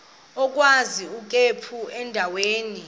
agwaz ikhephu endaweni